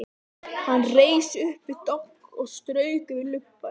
Hann reis upp við dogg og strauk yfir lubbann.